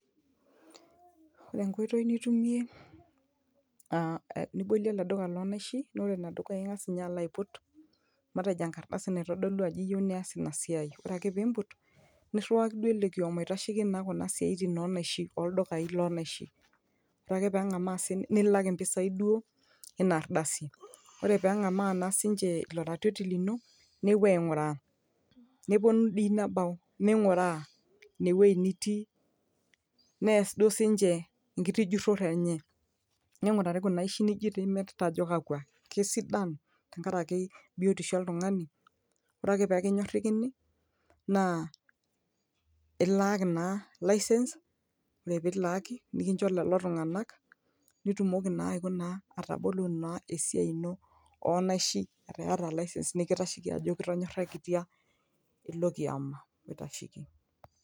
Ore ekoitoi nitumie aa nibolie olduka loo naishi naa ngas ninye alo aiput nkardasi naitodolu ajo yieu nilo aas ina siai. Ore pee iput niriwaki duo ilo kioma oitasheki kuna siaitin onaishi, oldukai loo naishi, ore ake pee eng nilak si niche ropiyiani duo ina ardasi. Ore ake pee engamu sii ninche ilo ratioti lino nepuo ainguraa, neponu doi nebau ninguraa ine wueji nitii, nees duo si ninche ekiti jurore enye, ningurari kuna aishi nimirita ajo kakwa tenaa kisidan te nkaraki biotisho oltungani, ore ake pee kinyorakini naa ilaaki naa licence nilaaki nikicho lelo tungana ilak pee itumoki naa atabolo naa esiai ino, onaishi yata naa licence nikitasheki nikitonyarikitia ilo kioma oitasheki.